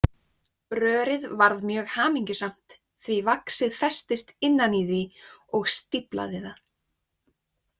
Rörið varð mjög hamingjusamt því vaxið festist innan í því og stíflaði það.